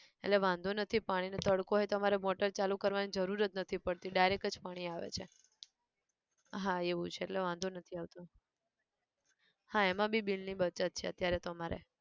એટલે વાંધો નથી પાણી નો તડકો હોય તો અમારે motor ચાલુ કરવાની જરૂર જ નથી પડતી direct જ પાણી આવે છે, હા એવું છે એટલે વાંધો નથી આવતો, હા એમાં બી bill ની બચત છે અત્યારે તો અમારે